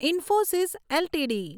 Infosys LTD